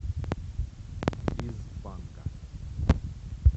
из панка